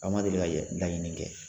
A ma deli ka yɛ laɲini kɛ